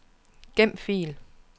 Gem fil.